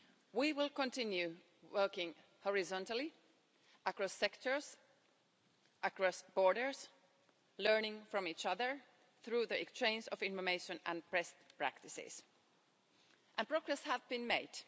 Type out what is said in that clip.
We will continue working horizontally across sectors, across borders, learning from each other through the exchange of information and best practices. And progress has been made.